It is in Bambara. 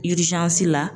la